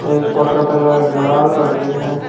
एक पॉट का कलर लाल और ग्रीन है।